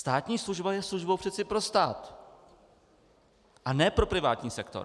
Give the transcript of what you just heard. Státní služba je službou přece pro stát, a ne pro privátní sektor.